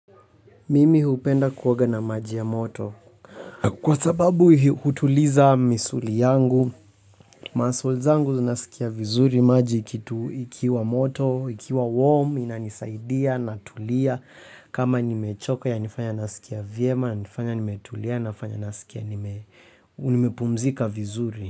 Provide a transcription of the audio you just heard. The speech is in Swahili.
Mimi hupenda kuoga na maji ya moto. Kwa sababu hi hutuliza misuli yangu. Muscle zangu zinasikia vizuri maji kitu ikiwa moto, ikiwa warm, inanisaidia na tulia. Kama nimechoka ya nifanya nasikia vyema, nanifanya nimetulia nafanya nasikia nimepumzika vizuri.